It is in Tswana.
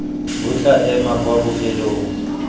bo tla ema kwa bofelong